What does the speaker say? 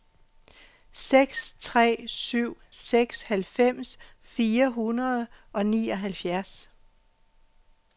seks tre syv seks halvfems fire hundrede og nioghalvfjerds